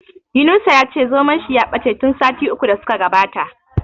Yunusa ya ce zomon shi ya bace tun sati uku da su ka gabata.